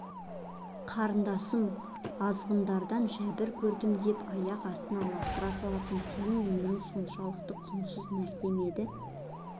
қарындасым азғындардан жәбір көрдім деп аяқ астына лақтыра салатындай сенің өмірің соншалық құнсыз нәрсе ме еді